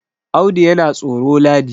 Audu yana tsoro ladi